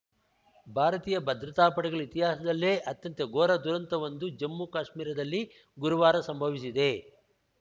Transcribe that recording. ಭಾರತೀಯ ಭದ್ರತಾಪಡೆಗಳ ಇತಿಹಾಸದಲ್ಲೇ ಅತ್ಯಂತ ಘೋರ ದುರಂತವೊಂದು ಜಮ್ಮುಕಾಶ್ಮೀರದಲ್ಲಿ ಗುರುವಾರ ಸಂಭವಿಸಿದೆ